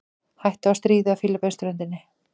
Hætta á stríði á Fílabeinsströndinni